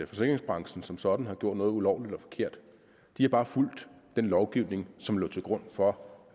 forsikringsbranchen som sådan har gjort noget ulovligt eller forkert de har bare fulgt den lovgivning som lå til grund for